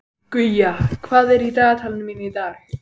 Guja, hvað er í dagatalinu mínu í dag?